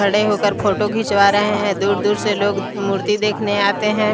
खड़े होकर फोटो खिंचवा रहे हैं दूर-दूर से लोग मूर्ति देखने आते हैं।